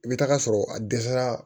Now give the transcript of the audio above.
I bɛ taa sɔrɔ a dɛsɛra